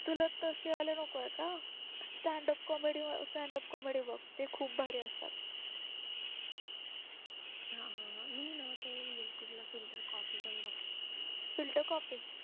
तुला कसे वाले नकोय का stand up comedy stand up comedy बघ ते खूप भारी असतात filter copy